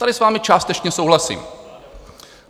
Tady s vámi částečně souhlasím.